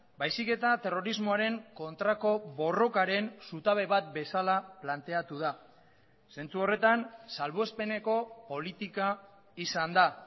baizik eta terrorismoaren kontrako borrokaren zutabe bat bezala planteatu da zentzu horretan salbuespeneko politika izan da